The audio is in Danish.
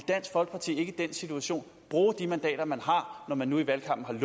dansk folkeparti ikke i den situation bruge de mandater man har når man nu i valgkampen